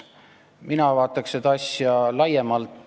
Mina vaataks seda asja laiemalt.